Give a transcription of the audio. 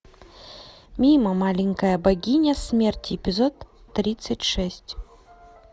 мимо маленькая богиня смерти эпизод тридцать шесть